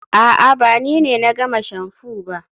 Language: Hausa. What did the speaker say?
a'a, ba ni ne na gama shamfu ba